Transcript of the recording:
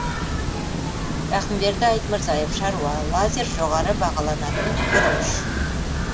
рақымберді айтмырзаев шаруа лазер жоғары бағаланатын күріш